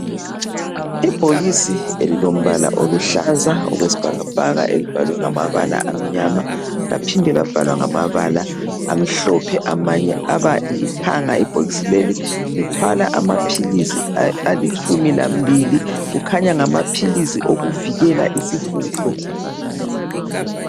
Ibhokisi elilombala oluhlaza okwesbhakabhaka elibhalwe ngamabala amnyama laphinde labhalwa ngamabala amhlophe amanye aba lithanga. Ibhokisi leli lithwala amaphilizi alitshumi lambili. Kukhanya ngamaphilizi okuvikela isihudo.